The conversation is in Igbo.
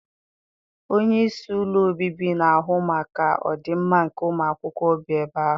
Onyeisi ụlọ obibi na-ahụ maka ọdị mma nke ụmụakwụkwọ bi ebe ahụ.